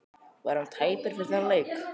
Var hann tæpur fyrir þennan leik?